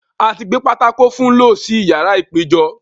A ti gbé pátákó fun lọ́ sí ìyàrá ìpéjọ.